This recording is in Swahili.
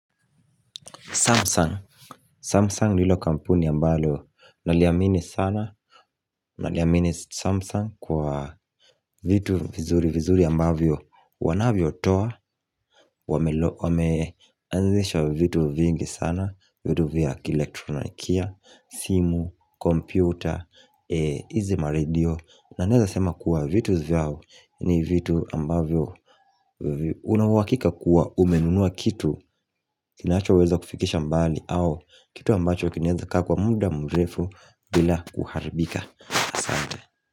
Samsung, Samsung ndilo kampuni ambalo, naliamini sana, naliamini Samsung kwa vitu vizuri vizuri ambavyo, wanavyotoa, wameanzisha vitu vingi sana, vitu vya kielektronikia, simu, kompyuta, e hizi maredio na neza sema kuwa vitu vyao ni vitu ambavyo una uhakika kuwa umenunua kitu kinachoweza kufikisha mbali au kitu ambacho kinaeza kaa kwa muda mrefu bila kuharibika Asante.